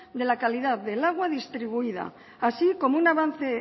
de la calidad del agua distribuida así como un avance